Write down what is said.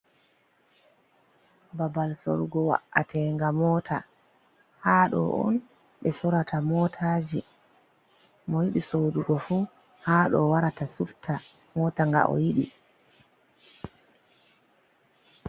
Ɓabal sorgo wa’atenga mota, ha ɗo on ɓe sorata motaji, mo yidi sodugo fu ha ɗo warata supta mota nga o yiɗi.